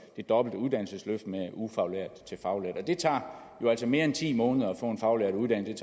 det dobbelte uddannelsesløft med ufaglært til faglært det tager jo altså mere end ti måneder at få en faglært uddannet